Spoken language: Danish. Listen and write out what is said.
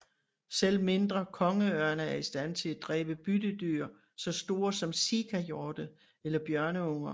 Selv mindre kongeørne er i stand til at dræbe byttedyr så store som sikahjorte eller bjørneunger